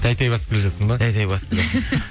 тәй тәй басып келе жатырсың ба тәй тәй басып